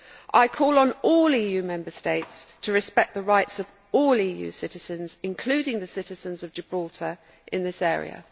I call on all EU Member States to respect the rights of all EU citizens including the citizens of Gibraltar in this area.